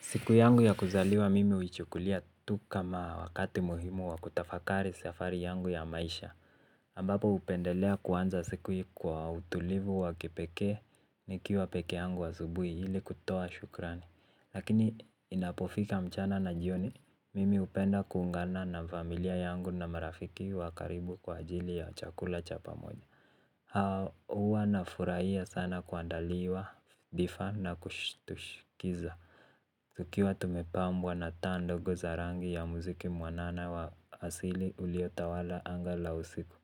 Siku yangu ya kuzaliwa mimi uichukulia tu kama wakati muhimu wa kutafakari safari yangu ya maisha. Ambapo upendelea kuanza siku ya kwa utulivu wa kipekee nikiwa pekee yangu asubuhi ili kutoa shukrani. Lakini inapofika mchana na jioni, mimi upenda kuungana na familia yangu na marafiki wa karibu kwa ajili ya chakula cha pamoja. Huwa nafurahia sana kuandaliwa, difa na kushtushkiza. Tukiwa tumepambwa na taa ndogo za rangi ya muziki mwanana wa asili uliotawala anga la usiku.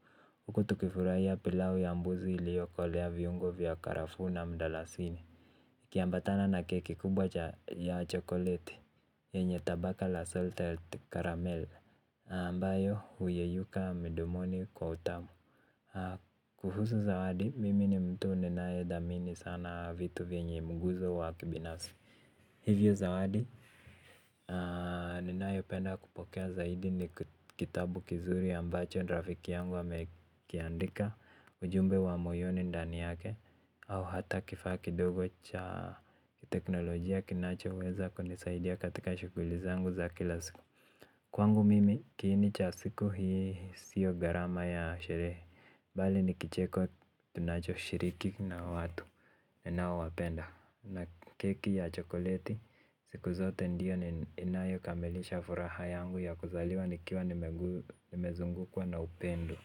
Huku tukifurahia pilau ya mbuzi iliyookolea viungo vya karafuu na mdalasini. Kiambatana na keki kubwa cha ya chokoleti. Yenye tabaka la salted caramel. Ambayo huyeyuka mdomoni kwa utamu. Kuhusu zawadi, mimi ni mtu ninae dhamini sana vitu vyenye mguzo wa kibinafsi. Hivyo zawadi, ninayopenda kupokea zaidi ni kitabu kizuri ambacho rafiki yangu amekiandika. Ujumbe wa moyoni ndani yake. Au hata kifaa kidogo cha teknolojia kinachoweza kunisaidia katika shughuli zangu za kila siku. Kwangu mimi kiini cha siku hii sio gharama ya sherehe, bali ni kicheko tunachoshiriki na watu ninaowapenda na keki ya chokoleti. Siku zote ndiyo inayo kamilisha furaha yangu ya kuzaliwa nikiwa nimezungukwa na upendo.